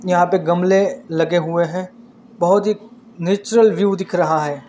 यहाँ पे गमले लगे हुए है बहोत ही नेचुरल व्यू दिख रहा है।